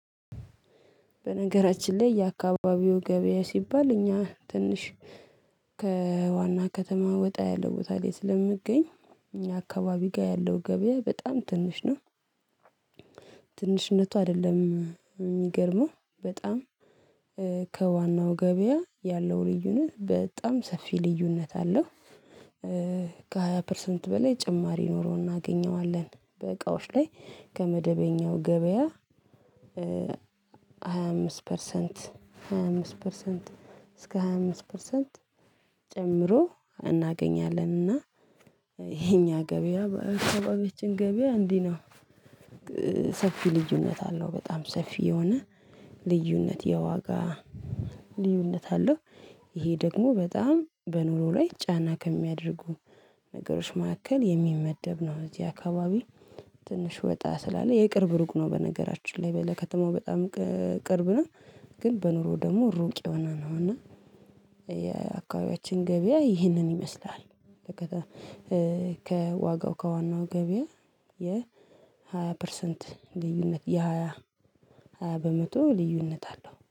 በነገራችን ላይ የአካባቢው ገበያ ሲባል እኛ ትንሽ ከዋና ከተማ ወጣ ያለ ቦታ ላይ ስለምገኝ አካባቢ ጋር ያለው ገበያ በጣም ትንሽ ነው። ትንሽነቱ አይደለም የሚገርመው በጣም ከዋናው ገበያ ያለው ልዩነት በጣም ሰፊ ልዩነት አለው። ከሃያ ፐርሰንት በላይ ጭማሪ ኖሮ እናገኘዋለን። በእቃዎች ላይ ከመደበኛው ገበያ ሃያ አምስት ፐርሰንት ሃያ አምስት ፐርሰንት እስከ ሃያ አምስት ፐርሰንት ጨምሮ እናገኛለን። እና የኛ ገበያ በአካባቢያችን ገበያ እንዲህ ነው ሰፊ ልዩነት አለው። በጣም ሰፊ የሆነ ልዩነት የዋጋ ልዩነት አለው ይሄ ደግሞ በጣም በኑሮ ላይ ጫና ከሚያደርጉን ነገሮች መካከል የሚመደብ ነው እዚህ አካባቢ ትንሽ ወጣ ስላለ የቅርብ ሩቅ ነው በነገራችን ላይ ለተማው በጣም ቅርብ ነው። ግን በኑሮ ደግሞ ሩቅ የሆነ ነው እና የአካባቢያችን ገበያ ይህንን ይመስላል ከዋጋው ከዋናው ገበያ የሃያ ፐርሰንት ልዩነት የሃያ በመቶ ልዩነት አለው።